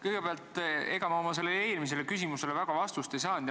Kõigepealt, ega ma oma eelmisele küsimusele vastust eriti ei saanud.